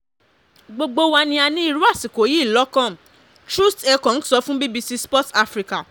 gbogbo wa ni a ní irú àsìkò yìí lọ́kàn troost ekong sọ fún bbc sport africa